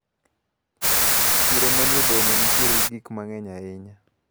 Chiro manie boma nitiere gi gikma ng`eny ahinya.